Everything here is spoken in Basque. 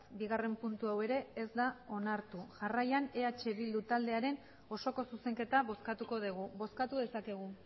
bigarren puntu hau ere ez da onartu jarraian eh bildu taldearen osoko zuzenketa bozkatuko dugu bozkatu dezakegu